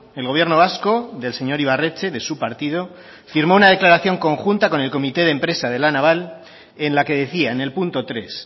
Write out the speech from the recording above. el gobierno vasco del señor ibarretxe de su partido firmó una declaración conjunta con el comité de empresa de la naval en la que decía en el punto tres